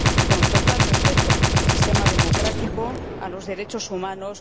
con total respeto del sistema democrático y de los derechos humanos.